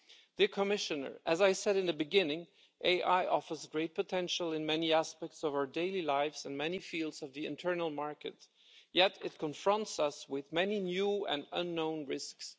Dear Commissioner, as I said at the beginning, AI offers great potential in many aspects of our daily lives and many fields of the internal market, yet it confronts us with many new and unknown risks.